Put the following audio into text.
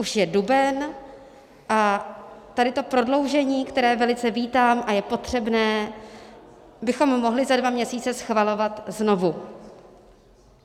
Už je duben a tady to prodloužení, které velice vítám a je potřebné, bychom mohli za dva měsíce schvalovat znovu.